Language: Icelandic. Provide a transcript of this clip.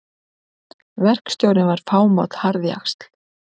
Verkstjórinn var fámáll harðjaxl.